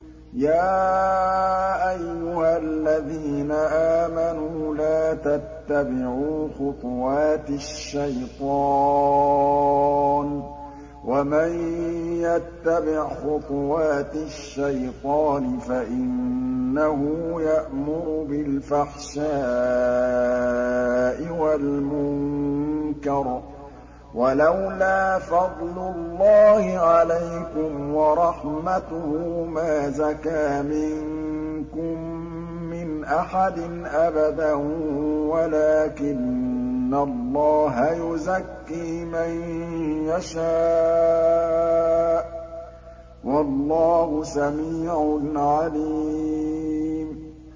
۞ يَا أَيُّهَا الَّذِينَ آمَنُوا لَا تَتَّبِعُوا خُطُوَاتِ الشَّيْطَانِ ۚ وَمَن يَتَّبِعْ خُطُوَاتِ الشَّيْطَانِ فَإِنَّهُ يَأْمُرُ بِالْفَحْشَاءِ وَالْمُنكَرِ ۚ وَلَوْلَا فَضْلُ اللَّهِ عَلَيْكُمْ وَرَحْمَتُهُ مَا زَكَىٰ مِنكُم مِّنْ أَحَدٍ أَبَدًا وَلَٰكِنَّ اللَّهَ يُزَكِّي مَن يَشَاءُ ۗ وَاللَّهُ سَمِيعٌ عَلِيمٌ